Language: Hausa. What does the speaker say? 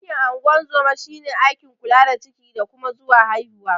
Aikin ungorzoma shine aikin kula da ciki, nakuda zuwa haihuwa.